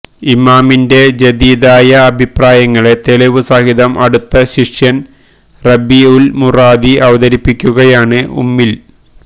ഇമാമിന്റെ ജദീദായ അഭിപ്രായങ്ങളെ തെളിവു സഹിതം അടുത്ത ശിഷ്യന് റബീഉല് മുറാദി അവതരിപ്പിക്കുകയാണ് ഉമ്മില്